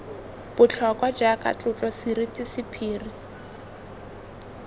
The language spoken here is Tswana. botlhokwa jaaka tlotlo seriti sephiri